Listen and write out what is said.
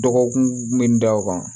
Dɔgɔkun min da o kan